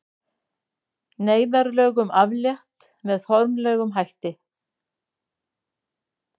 Neyðarlögum aflétt með formlegum hætti